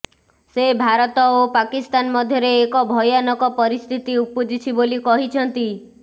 ସେ ଭାରତ ଓ ପାକିସ୍ତାନ ମଧ୍ୟରେ ଏକ ଭୟାନକ ପରିସ୍ଥିତି ଉପୁଜିଛି ବୋଲି କହିଛନ୍ତି